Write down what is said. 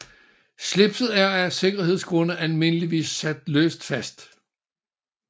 Slipset er af sikkerhedsgrunde almindeligvis sat løst fast